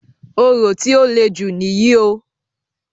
Orò tí o lè jù níyì o.